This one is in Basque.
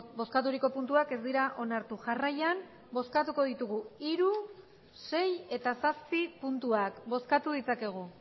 bozkaturiko puntuak ez dira onartu jarraian bozkatuko ditugu hiru sei eta zazpi puntuak bozkatu ditzakegu